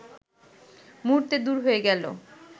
মুহূর্তে দূর হয়ে গেল